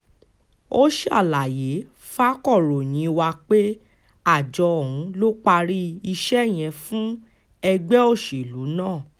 ó ṣàlàyé fàkòròyìn wa pé àjọ ọ̀hún ló parí iṣẹ́ yẹn fún ẹgbẹ́ òṣèlú ná